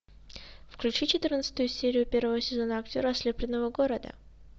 включи четырнадцатую серию первого сезона актера ослепленного города